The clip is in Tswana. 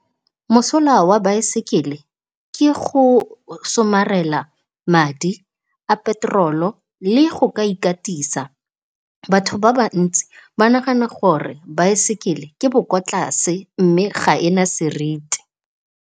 Mosola wa baesekele ke go somarela madi a petrol-o le go ka ikatisa. Batho ba ba ntsi ba nagana gore baesekele ke bo ko tlase mme, ga e na seriti.